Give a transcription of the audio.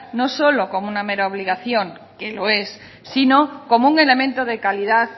no solo como una mera obligación que lo es sino como un elemento de calidad